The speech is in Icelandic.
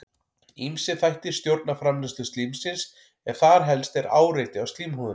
Ýmsir þættir stjórna framleiðslu slímsins en þar helst er áreiti á slímhúðina.